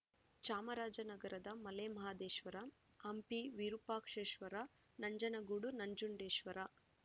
ಚಾಮರಾಜ ನಗರದ ಮಲೆಮಹದೇಶ್ವರ ಹಂಪಿ ವಿರೂಪಾಕ್ಷೇಶ್ವರ ನಂಜನಗೂಡು ನಂಜುಡೇಶ್ವರ